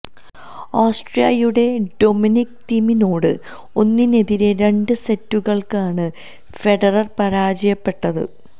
ഓസ്ട്രിയയുടെ Dominic തീമിനോട് ഒന്നിനെതിരെ രണ്ട് സെറ്റുകള്ക്കാണ് ഫെഡറര് പരാജയപ്പെട്ടത്